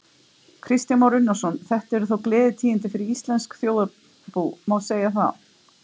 Kristján Már Unnarsson: Þetta eru þá gleðitíðindi fyrir íslenskt þjóðarbú, má segja það?